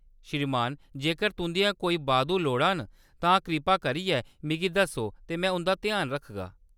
श्रीमान, जेकर तुंʼदियां कोई बाद्धू लोड़ां न, तां कृपा करियै मिगी दस्सो ते में उंʼदा ध्यान रखगा।